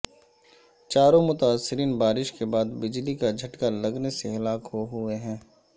چاروں متاثرین بارش کے بعد بجلی کا جھٹکا لگنے سے ہلاک ہوئے ہیں